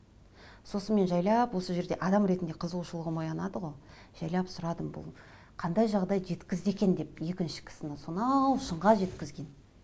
сосын мен жайлап осы жерде адам ретінде қызуғышылығым оянады ғой жайлап сұрадым бұл қандай жағдай жеткізді екен деп екінші кісіні сонау шыңға жеткізген